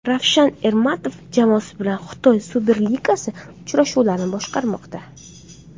Ravshan Ermatov jamoasi bilan Xitoy Superligasi uchrashuvlarini boshqarmoqda.